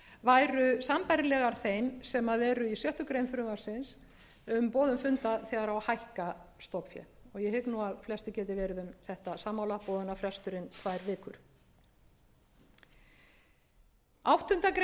væru sambærilegar beint sem eru í sjöttu greinar frumvarpsins um boðun funda þegar á að fækka stofnfé og ég hygg að flestir geti verið um þetta sammála boðunarfresturinn tvær vikur áttundu greinar frumvarpsins